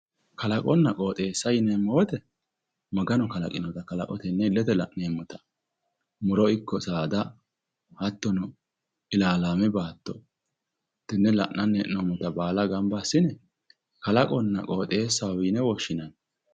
Kalaqonna qooxeessa yineemmo woyiite Maganu kalaqinota tenne illete la'neemmota muro ikko saada hattono ilaalaame baatto tenne la'anni hee'noommota baala gamba assine kalaqonna qooxeesaho yine woshshinanni.